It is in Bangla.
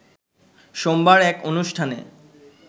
সোমবার এক অনুষ্ঠানে